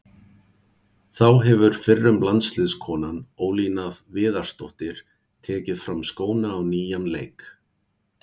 Þá hefur fyrrum landsliðskonan Ólína Viðarsdóttir tekið fram skóna á nýjan leik.